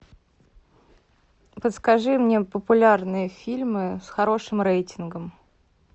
подскажи мне популярные фильмы с хорошим рейтингом